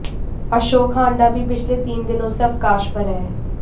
अशोक हांडा भी पिछले तीन दिनों से अवकाश पर हैं